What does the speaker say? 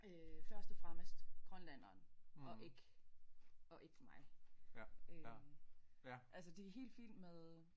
Øh først og fremmest grønlænderen og ikke og ikke mig øh altså det er helt fint med